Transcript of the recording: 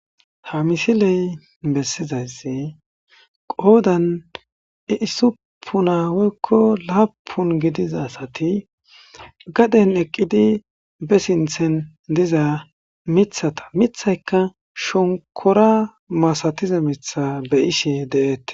Ha misilee bessizayssi qoodan usuppuna woykko laappun gidiza asathi gaden eqqidi be sinththen diza miththatha miththaykka shonkkoraa masathiza miththaa be7ishee de7eeththes.